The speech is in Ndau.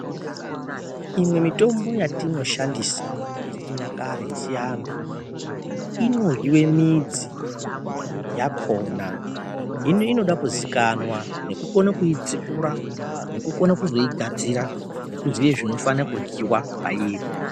Imwe mitombo yatinoshandisa yechinyakare yechiantu inoryiwe midzi yakhona ,hino inodakuzikanwa, nekukona kuidzipura, nekukona kuzoigadzira ,nekukona kuzoziya zvinoryiwa pairi.